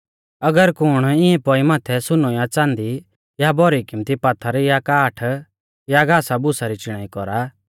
अगर कुण इंऐ पौई माथै सुनौ या च़ाँदी या भौरी किमत्ती पात्थर या काठ या घासा भूसा री चिणाई कौरा